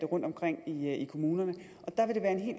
rundtomkring i kommunerne